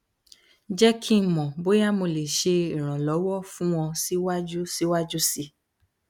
jẹ ki n mọ boya mo le ṣe iranlọwọ fun ọ siwaju siwaju sii